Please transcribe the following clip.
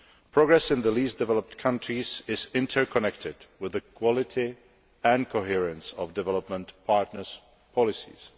Progress in the least developed countries is interconnected with equality and coherence of development partners' policies.